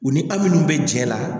U ni aw minnu bɛ cɛ la